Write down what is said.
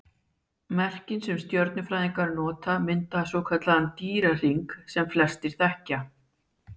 Merkin sem stjörnufræðingar nota mynda svokallaðan Dýrahring sem flestir þekkja.